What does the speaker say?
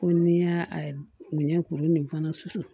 Ko n'i y'a minɛ kuru nin fana susu